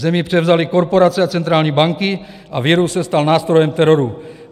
Země převzaly korporace a centrální banky a virus se stal nástrojem teroru.